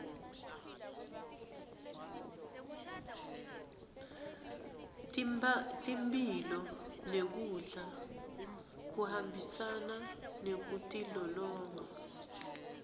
temphilo nekudla kuhambisana nekutilolonga